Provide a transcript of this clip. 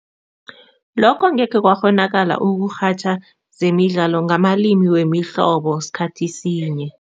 Lokho ngekhe kwakghonakala ukurhatjha zemidlalo ngamalimi wemihlobo sikhathi sinye.